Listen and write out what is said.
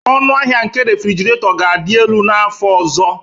Ọnụahịa nke refrjiraeto ga-adị elu n'afọ ọzọ